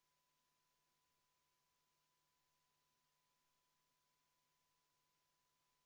Kolleeg ütles, et parem mitte lugeda neid punkte, § 51, lõige 41 ja nii edasi, et kuskil mingi murd valesti ei läheks, aga te saate seda lugeda tekstist.